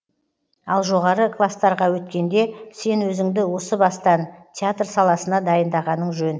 ал жоғары кластарға өткенде сен өзіңді осы бастан театр саласына дайындағаның жөн